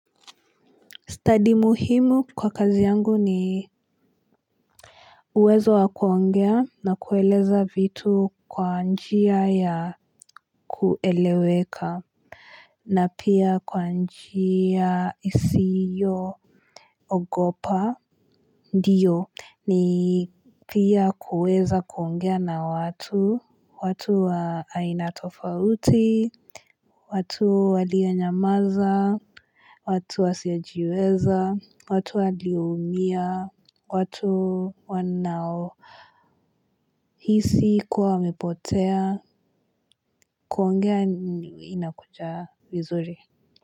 Study muhimu kwa kazi yangu ni uwezo wa kuongea na kueleza vitu kwa njia ya kueleweka. Na pia kwa njia isiyo ogopa. Ndiyo ni pia kuweza kuongea na watu. Watu wa aina tofauti. Watu walio nyamaza, watu wasio jiweza, watu walio umiya. Watu wanao hisi kuwa wamepotea. Kuongea inakuja vizuri.